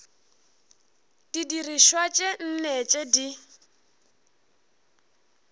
didirišwa tše nne tše di